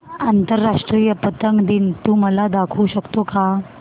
आंतरराष्ट्रीय पतंग दिन तू मला दाखवू शकतो का